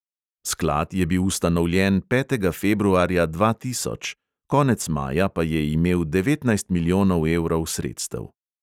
Sklad je bil ustanovljen petega februarja dva tisoč, konec maja pa je imel devetnajst milijonov evrov sredstev.